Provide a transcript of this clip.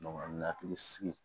hakili sigi